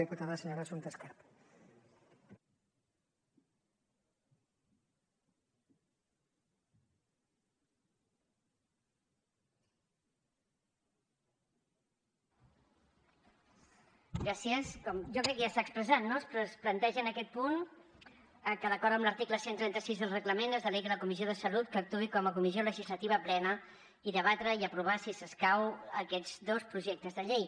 jo crec que ja s’ha expressat no es planteja en aquest punt que d’acord amb l’article cent i trenta sis del reglament es delegui la comissió de salut que actuï com a comissió legislativa plena i debatre i aprovar si escau aquests dos projectes de llei